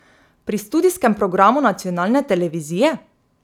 Pri studijskem programu nacionalne televizije?